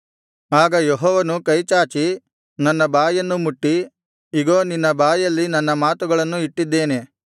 ಆಗ ಯೆಹೋವನು ಕೈಚಾಚಿ ನನ್ನ ಬಾಯನ್ನು ಮುಟ್ಟಿ ಇಗೋ ನಿನ್ನ ಬಾಯಲ್ಲಿ ನನ್ನ ಮಾತುಗಳನ್ನು ಇಟ್ಟಿದ್ದೇನೆ